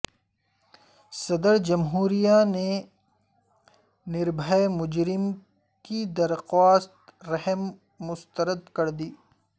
صدرجمہوریہ نے نربھئے مجرمین کی درخواست رحم مسترد کردی